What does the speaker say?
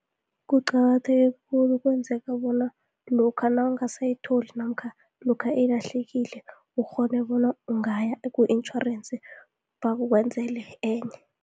Kuqakatheke khulu, kwenzeka bona lokha nawungasayitholi, namkha lokha ilahlekile ukghone bona ungaya ku-intjhorensi bakwenzele enye.